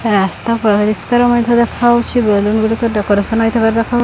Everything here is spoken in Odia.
ରାସ୍ତା ପରିଷ୍କାର ମଧ୍ୟ ଦେଖା ହଉଚି ବେଲୁନ ଗୁଡିକ ଡେକୋରେସନ୍ ହେଇଥିବାର ଦେଖା --